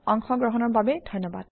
অংশগ্ৰহণৰ বাবে ধন্যবাদ